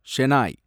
Shenoy